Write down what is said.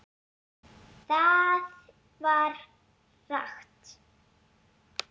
Það var rangt.